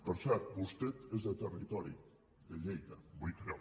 per cert vostè és de territori de lleida vull creure